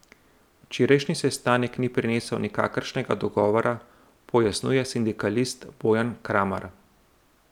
Včerajšnji sestanek ni prinesel nikakršnega dogovora, pojasnjuje sindikalist Bojan Kramar.